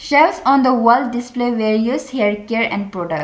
shelf on the wall display various haircare and product.